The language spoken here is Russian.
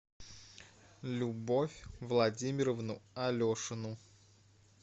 любовь владимировну алешину